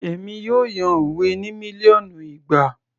Èmi yóò yan òwe ní mílíọ̀nù ìgbà